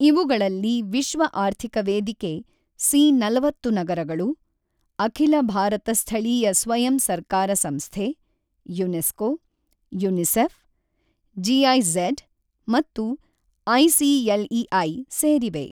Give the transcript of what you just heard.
ಇವುಗಳಲ್ಲಿ ವಿಶ್ವ ಆರ್ಥಿಕ ವೇದಿಕೆ, ಸಿ ನಲವತ್ತು ನಗರಗಳು, ಅಖಿಲ ಭಾರತ ಸ್ಥಳೀಯ ಸ್ವಯಂ ಸರ್ಕಾರ ಸಂಸ್ಥೆ, ಯುನೆಸ್ಕೊ, ಯುನಿಸೆಫ್, ಜಿಐಝೆಡ್, ಮತ್ತು ಐಸಿಎಲ್ಇಐ ಸೇರಿವೆ.